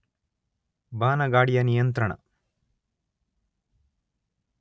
ಬಾನಗಾಡಿಯ ನಿಯಂತ್ರಣ